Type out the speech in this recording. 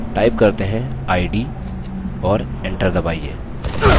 id और enter दबाइए